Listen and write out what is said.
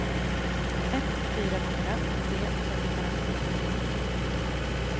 ett fyra fyra tre fyrtiofem niohundranio